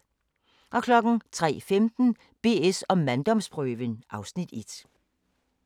03:15: BS & manddomsprøven (Afs. 1)